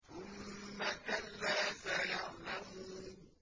ثُمَّ كَلَّا سَيَعْلَمُونَ